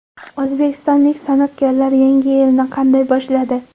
O‘zbekistonlik san’atkorlar yangi yilni qanday boshladi?